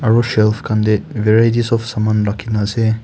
aro shelf kanbe varieties of saman rakhina ase.